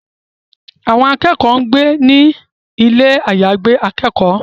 Àwọn akẹ́kọ̀ọ́ ń gbé ní ilé àyàgbé akẹ́kọ̀ọ́